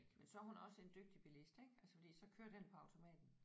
Men så er hun også en dygtigt billist ik altså fordi så kører den jo på automaten